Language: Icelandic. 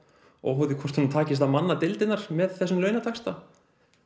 óháð því hvort honum takist að manna deildirnar með þessum launataxta